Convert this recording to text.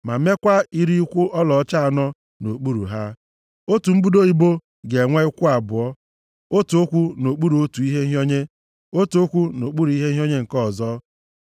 ma mekwaa iri ụkwụ ọlaọcha anọ nʼokpuru ha. Otu mbudo ibo ga-enwe ụkwụ abụọ, otu ụkwụ nʼokpuru otu ihe nhịọnye, otu ụkwụ nʼokpuru ihe nhịọnye nke ọzọ.